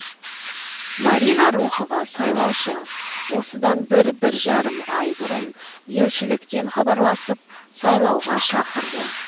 марина рухова сайлаушы осыдан бір бір жарым ай бұрын елшіліктен хабарласып сайлауға шақырды